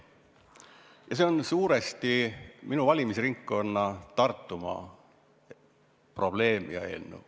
Ja see on suuresti minu valimisringkonna Tartumaa probleem ja eelnõu.